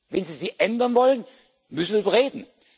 Regeln. Wenn Sie sie ändern wollen, müssen wir darüber